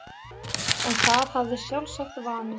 En það hafði sjálfsagt vanist.